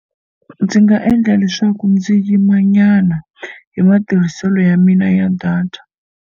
Ndzi nga endla leswaku ndzi yimanyana hi matirhiselo ya mina ya data.